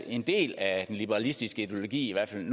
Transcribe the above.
en del af den liberalistiske ideologi i hvert fald